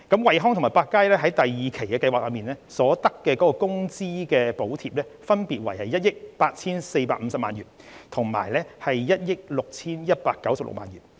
惠康和百佳在第二期計劃所得的工資補貼，分別為1億 8,450 萬元及1億 6,196 萬元。